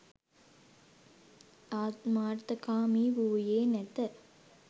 ආත්මාර්ථකාමී වූයේ නැත.